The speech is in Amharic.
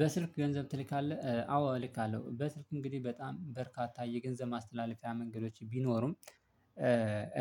በስልክ ገንዘብ ትልካለህ? አዎ እልካለሁ በስልክ እንግዲህ በጣም በርካታ የገንዘብ ማስትላለፍያ መንገዶች ቢኖሩም